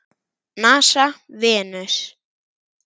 NASA- Venus.